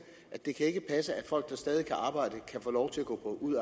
at det ikke kan passe at folk der stadig kan arbejde kan få lov til at gå ud